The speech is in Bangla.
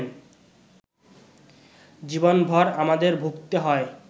জীবনভর আমাদের ভুগতে হয়